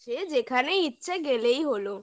সে যেখানে ইচ্ছা গেলেই হলো